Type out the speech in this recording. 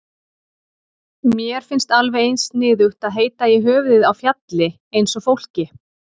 Mér finnst alveg eins sniðugt að heita í höfuðið á fjalli eins og fólki.